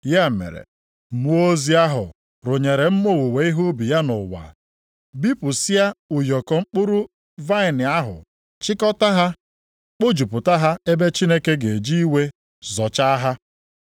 Ya mere, mmụọ ozi ahụ rụnyere mma owuwe ihe ubi ya nʼụwa, bipụsịa ụyọkọ mkpụrụ vaịnị ahụ chịkọta ha, kpojupụta ha ebe Chineke ga-eji iwe zọchaa ha.